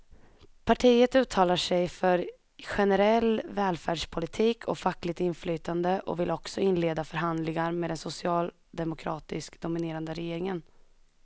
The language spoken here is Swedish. Partiet uttalar sig för generell välfärdspolitik och fackligt inflytande och vill också inleda förhandlingar med den socialdemokratiskt dominerade regeringen.